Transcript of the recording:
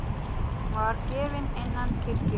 Hún var grafin innan kirkju.